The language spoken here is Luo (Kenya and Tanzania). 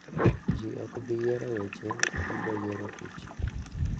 Ji ok bi yiero weche, to gibiro yiero tich.